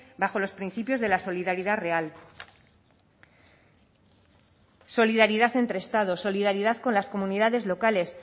bajo los principios de la solidaridad real solidaridad entre estados solidaridad con las comunidades locales